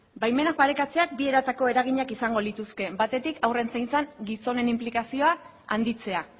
baimenak parekatzea bi eratako eraginak izango lituzke batetik haurren zaintzan gizonen inplikazioa handitzea